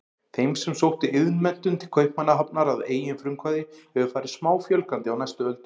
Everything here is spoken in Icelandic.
Þeim sem sóttu iðnmenntun til Kaupmannahafnar að eigin frumkvæði hefur farið smáfjölgandi á næstu öldum.